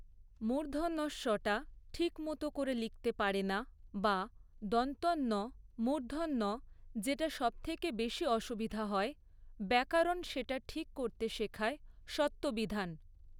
মূর্ধণ্য ষ টা ঠিক মতো করে লিখতে পারে না বা দন্ত্য ন মূর্ধন্য ন যেটা সবথেকে বেশি অসুবিধা হয়, ব্যাকরণ সেটা ঠিক করতে শেখায় ষত্ববিধান।